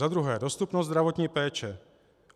Za druhé, dostupnost zdravotní péče.